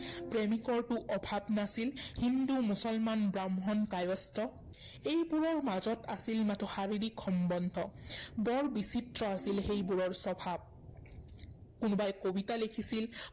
প্ৰেমিকৰতো অভাৱ নাছিল। হিন্দু, মুছলমান, ব্ৰাহ্মণ, কায়স্থ এইবোৰৰ মাজত আছিল মাথো কোনো শাৰীৰিক সম্বন্ধ। বৰ বিচিত্ৰ আছিল সেইবোৰৰ স্বভাৱ। কোনোবাই কবিতা লেখিছিল